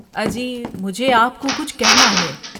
اجی، مجھے آپ کو کچھ کہنا ہے۔